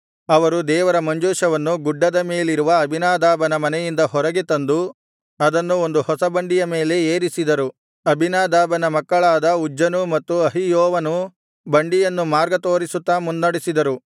ಅವರು ದೇವರ ಮಂಜೂಷವನ್ನು ಗುಡ್ಡದ ಮೇಲಿರುವ ಅಬೀನಾದಾಬನ ಮನೆಯಿಂದ ಹೊರಗೆ ತಂದು ಅದನ್ನು ಒಂದು ಹೊಸ ಬಂಡಿಯ ಮೇಲೆ ಏರಿಸಿದರು ಅಬೀನಾದಾಬನ ಮಕ್ಕಳಾದ ಉಜ್ಜನೂ ಮತ್ತು ಅಹಿಯೋವನೂ ಬಂಡಿಯನ್ನು ಮಾರ್ಗ ತೋರಿಸುತ್ತಾ ಮುನ್ನಡೆಸಿದರು